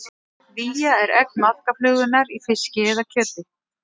Vía er egg maðkaflugunnar í fiski eða kjöti.